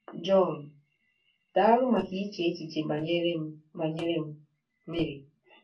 John: Daalụ maka iche echiche banyere m banyere m, Mary.